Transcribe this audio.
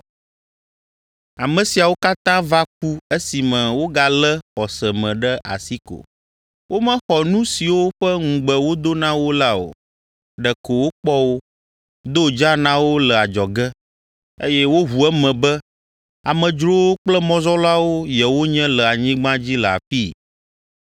Ame siawo katã va ku esime wogalé xɔse me ɖe asi ko. Womexɔ nu siwo ƒe ŋugbe wodo na wo la o, ɖeko wokpɔ wo, do dzaa na wo le adzɔge, eye woʋu eme be amedzrowo kple mɔzɔlawo yewonye le anyigba dzi le afii.